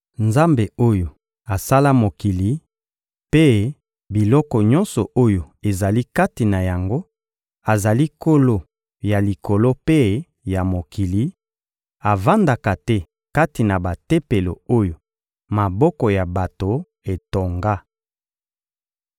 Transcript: Nzambe oyo asala mokili mpe biloko nyonso oyo ezali kati na yango azali Nkolo ya Likolo mpe ya mokili, avandaka te kati na batempelo oyo maboko ya bato etonga.